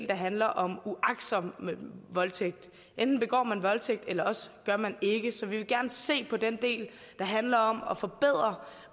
der handler om uagtsom voldtægt enten begår man en voldtægt eller også gør man ikke så vi vil gerne se på den del der handler om at forbedre